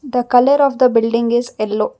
The colour of the building is yellow.